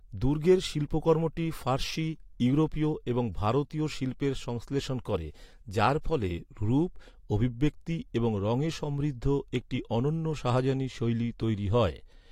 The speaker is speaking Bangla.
দুর্গের শিল্পকর্মটি ফার্সি, ইউরোপীয় এবং ভারতীয় শিল্পের সংশ্লেষণ করে, যার ফলে রূপ, অভিব্যক্তি এবং রঙে সমৃদ্ধ একটি অনন্য শাহজাহানী শৈলী তৈরি হয়।